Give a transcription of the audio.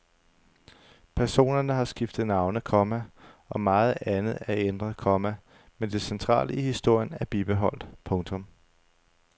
Personerne har skiftet navne, komma og meget andet er ændret, komma men det centrale i historien er bibeholdt. punktum